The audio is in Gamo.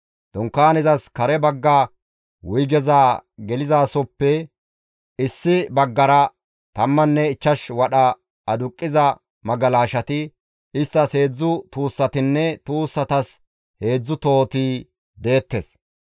Dunkaanezas kare bagga wuygeza gelizasoppe issi baggara tammanne ichchash wadha aduqqiza magalashati, isttas heedzdzu tuussatinne tuussatas heedzdzu tohoti deettes.